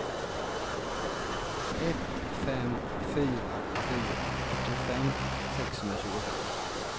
ett fem fyra fyra åttiofem sexhundratjugofem